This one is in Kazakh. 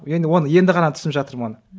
енді оны енді ғана түсініп жатырмын оны